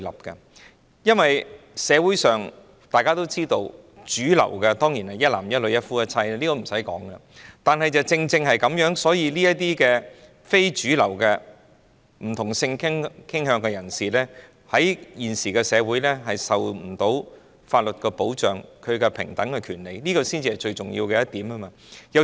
大家也知道，社會上主流當然是一男一女、一夫一妻的婚姻制度，這不用多說，但正因如此，非主流的不同性傾向人士的平等權利在現今社會未能受到法律保障，這才是最重要的一點。